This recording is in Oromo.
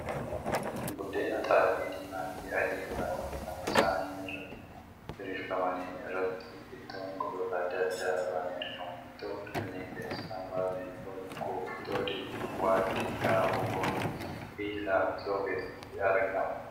Buddeen xaafii diimaa fi adii irraa hojjatamanii saanii irra diriirfaman irratti ittoon gosoota adda addaa ba'anii argamu. Ittoowwan kanneen keessaa muraasni ittoo lukkuu, ittoo diimaa, waaddii , raafuu fooniin fi laaffisoon keessatti argama.